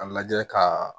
A lajɛ ka